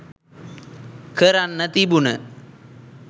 කරන්න තිබුන